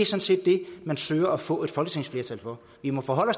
set det man søger at få et folketingsflertal for vi må forholde